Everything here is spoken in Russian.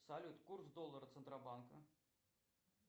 салют курс доллара центробанка